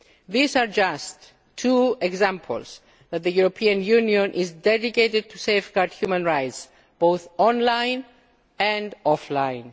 These are just two examples showing that the European Union is dedicated to safeguarding human rights both online and offline.